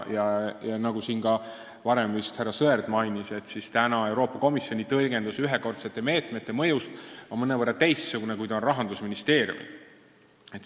Nagu siin varem vist härra Sõerd mainis, Euroopa Komisjoni tõlgendus ühekordsete meetmete mõju kohta on mõnevõrra teistsugune, kui ta on Rahandusministeeriumil.